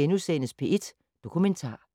02:18: P1 Dokumentar *